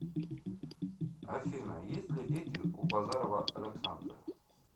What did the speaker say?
афина есть ли дети у базарова александра